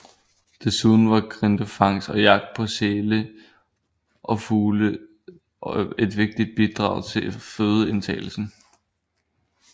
Desuden var grindefangst og jagt på sæler og fugle et vigtigt bidrag til fødeindtagelsen